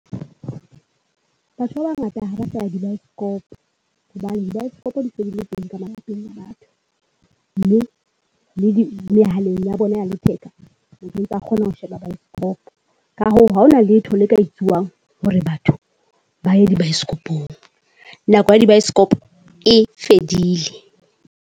Batho ba bangata ha basaya dibaesekopo. Hobane dibaesekopo di se dile teng ka malapeng a batho. Mme le di mehaleng ya bona ya letheka, motho ontsa kgona ho sheba baesekopo. Ka hoo haona letho le ka etsuwang hore batho baye dibaesekopong. Nako ya di baesekopo e fedile.